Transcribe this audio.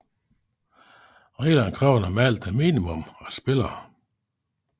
Reglerne kræver normalt et minimum af spillere